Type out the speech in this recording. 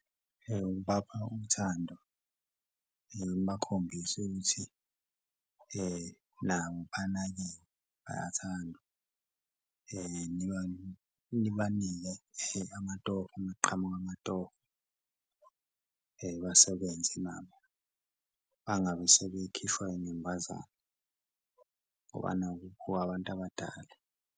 Ukubapha uthando nibakhombise ukuthi nabo banakiwe bayathandwa nibanike amatoho uma kuqhamuka amatoho basebenze nabo bangabe sebekhishwa inyumbazana ngoba naku kuwabantu abadala.